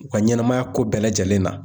U ka ɲɛnɛmaya ko bɛɛ lajɛlen na.